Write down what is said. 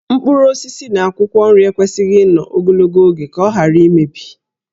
Mkpụrụ osisi na akwụkwọ nri ekwesịghị ịnọ ogologo oge ka ọ ghara imebi